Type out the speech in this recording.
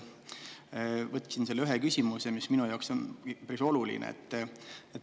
Võtsin selle ühe küsimuse, mis minu jaoks on oluline.